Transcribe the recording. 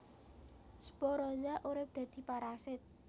Sporozoa urip dadi parasit